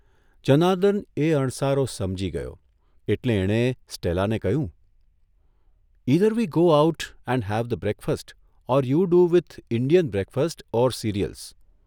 જનાર્દન એ અણસારો સમજી ગયો એટલે એણે સ્ટેલાને કહ્યું, ' ઇધર we go out and have the breakfast or you do with Indian breakfast or cereals'